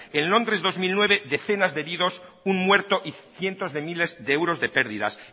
en londres dos mil nueve decenas de heridos un muerto y cientos de miles de euros de pérdidas